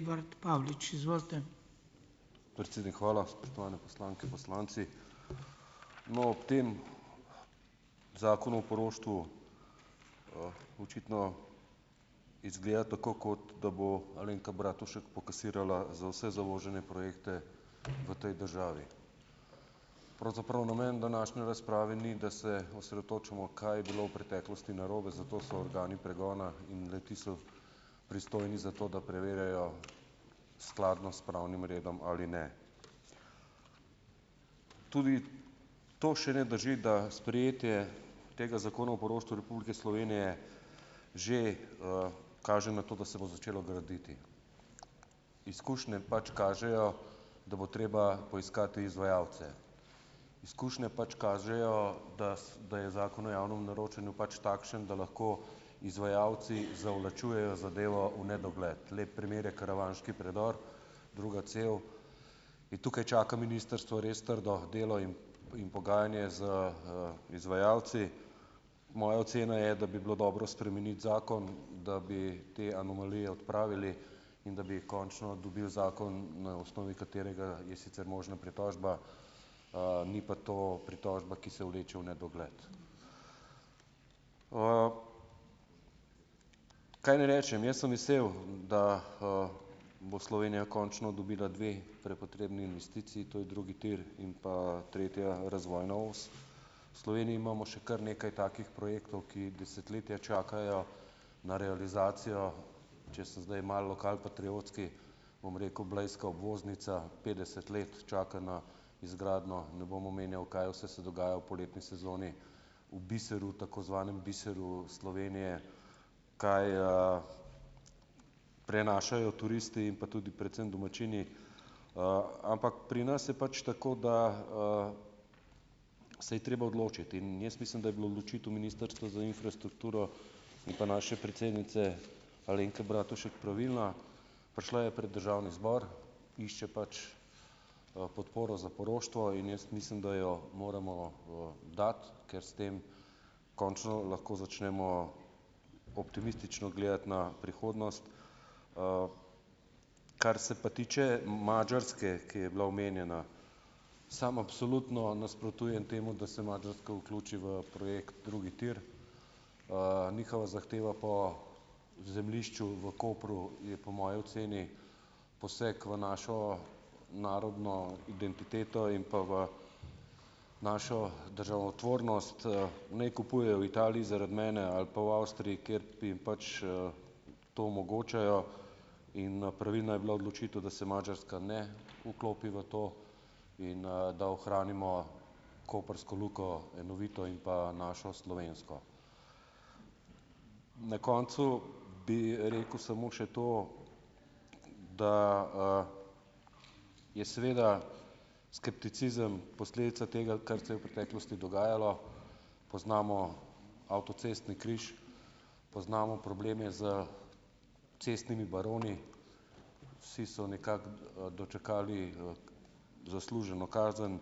d Predsednik, hvala. Spoštovane poslanke, poslanci! No. Ob tem Zakonu o poroštvu, očitno izgleda tako kot da bo Alenka Bratušek pokasirala za vse zavožene projekte v tej državi. Pravzaprav namen današnje razprave ni, da se osredotočimo, kaj je bilo v preteklosti narobe, za to so organi pregona in le-ti so pristojni za to, da preverjajo skladnost s pravnim redom ali ne. Tudi to še ne drži, da sprejetje tega Zakona o poroštvu Republike Slovenije že, kaže na to, da se bo začelo graditi. Izkušnje pač kažejo, da bo treba poiskati izvajalce. Izkušnje pač kažejo, da da je Zakon o javnem naročanju pač takšen, da lahko izvajalci zavlačujejo zadevo v nedogled, lep primer je karavanški predor, druga cev, in tukaj čaka ministrstvo res trdo delo in in pogajanje z, izvajalci. Moja ocena je, da bi bilo dobro spremeniti zakon, da bi te anomalije odpravili in da bi končno dobili zakon, na osnovi katerega je sicer možna pritožba, ni pa to pritožba, ki se vleče v nedogled. Kaj naj rečem? Jaz sem vesel, da, bo Slovenija končno dobila dve prepotrebni investiciji, to je drugi tir in pa tretja razvojna os. V Sloveniji imamo še kar nekaj takih projektov, ki desetletja čakajo na realizacijo, če sem zdaj malo lokalpatriotski, bom rekel, blejska obvoznica petdeset let čaka na izgradnjo, ne bom omenjal, kaj vse se dogaja v poletni sezoni, v biseru tako zvanem, biseru Slovenije, kaj, prenašajo turisti in pa tudi predvsem domačini, ampak pri nas je pač tako, da, se je treba odločiti. In jaz mislim, da je bila odločitev Ministrstva za infrastrukturo in pa naše predsednice Alenke Bratušek pravilna. Prišla je pred državni zbor, išče pač, podporo za poroštvo in jaz mislim, da jo moramo, dati, ker s tem končno lahko začnemo optimistično gledati na prihodnost. Kar se pa tiče Madžarske, ki je bila omenjena. Sam absolutno nasprotujem temu, da se Madžarska vključi v projekt drugi tir. Njihova zahteva po zemljišču v Kopru je po moji oceni poseg v našo narodno identiteto in pa v našo državotvornost. Naj kupujejo v Italiji, zaradi mene ali pa v Avstriji, kjer jim pač, to omogočajo. In pravilna je bila odločitev, da se Madžarska ne vklopi v to in, da ohranimo koprsko luko enovito in pa našo slovensko. Na koncu bi rekel samo še to, da, je seveda skepticizem posledica tega, kar se je v preteklosti dogajalo. Poznamo avtocestni križ, poznamo probleme s cestnimi baroni, vsi so nekako, dočakali, zasluženo kazen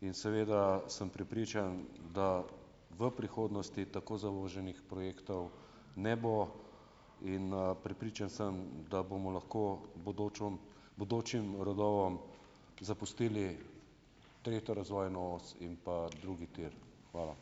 in seveda sem prepričan, da v prihodnosti tako zavoženih projektov ne bo. In, prepričan sem tudi, da bomo lahko bodočom bodočim rodovom zapustili tretjo razvojno os in pa drugi tir. Hvala.